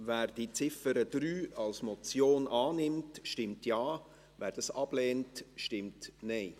Wer die Ziffer 3 als Motion annimmt, stimmt Ja, wer dies ablehnt, stimmt Nein.